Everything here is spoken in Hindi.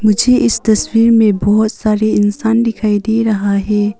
मुझे इस तस्वीर में बहुत सारे इंसान दिखाई दे रहा है।